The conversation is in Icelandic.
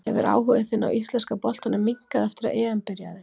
Hefur áhugi þinn á íslenska boltanum minnkað eftir að EM byrjaði?